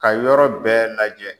Ka yɔrɔ bɛɛ lajɛ.